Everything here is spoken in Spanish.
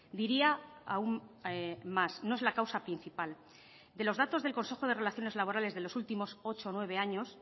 diría aún más no es la causa principal de los datos del consejo de relaciones laborales de los últimos ocho o nueve años